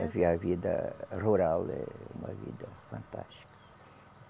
a vida rural, é uma vida fantástica.